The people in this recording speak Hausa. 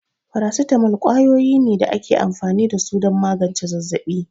Farasitamol kwayoyi ne da ake amfani da su don magance zazzabi.